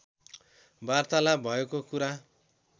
वार्तालाप भएको कुरा